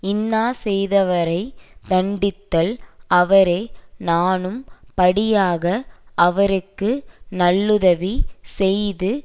இன்னா செய்தவரை தண்டித்தல் அவரே நாணும் படியாக அவருக்கு நல்லுதவி செய்து